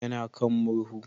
Ya na kan murhu